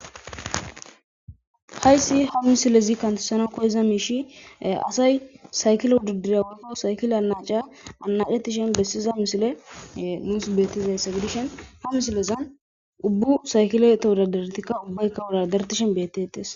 Hayssi ha misilezi kantessana koyza miishi asay saykilo duddirya wolfo saykile anacaya anacetishen bessiza misile muus beettizayssa gidishen ha misilezan ubbu saykile ta hudadartikka ubbaykka wuradartishen beettetes.